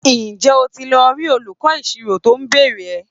Ǹjẹ́ o ti lọ rí olùkọ́ ìṣirò tó ń béèrè rẹ?